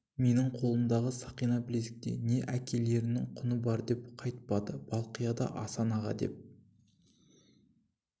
менің қолымдағы сақина-білезікте не әкелеріннің құны бар деп қайтпады балқия да асан аға деп